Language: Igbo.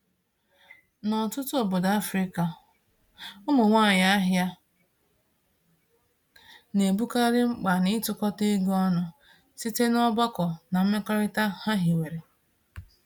N'ọtụtụ obodo Afrịka, ụmụ nwanyị ahịa na-ebukarị mkpa n'ịtukọta ego ọnụ site n'ọgbakọ na mmekọrịta ha hiwere.